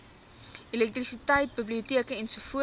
elektrisiteit biblioteke ens